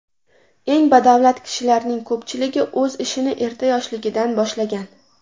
Eng badavlat kishilarning ko‘pchiligi o‘z ishini erta yoshligidan boshlagan.